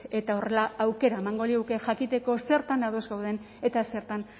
eta horrela aukera emango liguke jakiteko zertan ados gauden eta zertan